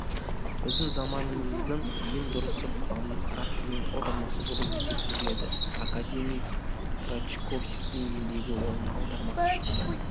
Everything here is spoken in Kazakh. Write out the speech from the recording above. біздің заманымызда ең дұрысы құранның араб тілінен аудармасы болып есептелетін академик крачковскийдің еңбегі оның аудармасы шықты